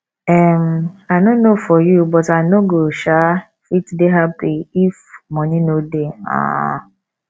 um i no know for you but i no go um fit dey happy if money no dey um